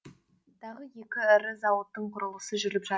тағы екі ірі зауыттың құрылысы жүріп жатыр